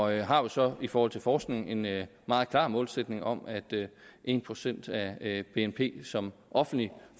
jeg har jo så i forhold til forskningen en meget klar målsætning om at en procent af bnp som offentlig